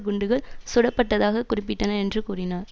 குண்டுகள் சுடப்பட்டதாக குறிப்பிட்டனர் என்று கூறினார்